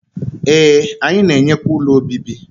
Ee, anyị na-enyekwa ụlọ obibi